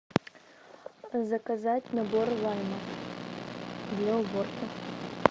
заказать набор лайма для уборки